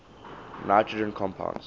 nitrogen compounds